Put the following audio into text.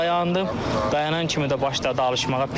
Elə dayandım, dayanan kimi də başladı alışmağa.